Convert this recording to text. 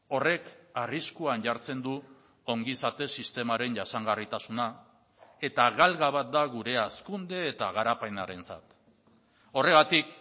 horrek arriskuan jartzen du ongizate sistemaren jasangarritasuna eta galga bat da gure hazkunde eta garapenarentzat horregatik